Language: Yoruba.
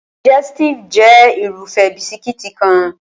Digẹstive jẹ́ Irúfẹ́ bisikíìtì kan